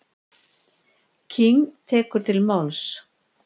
King tekur til máls.